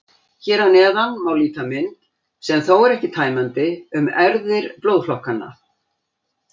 Hér að neðan má líta mynd, sem þó er ekki tæmandi, um erfðir blóðflokkanna.